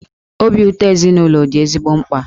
Obi ụtọ ezinụlọ dị ezigbo mkpa.